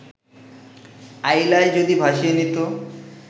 আইলায় যদি ভাসিয়ে নিত